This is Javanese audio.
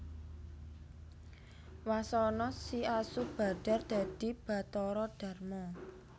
Wasana si asu badhar dadi Bathara Darma